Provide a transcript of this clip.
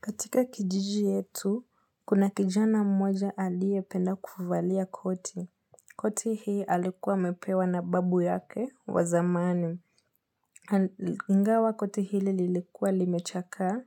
Katika kijiji yetu, kuna kijana mmoja aliependa kuvalia koti. Koti hii alikuwa amepewa na babu yake wazamani. Ingawa koti hili lilikuwa limechakaa,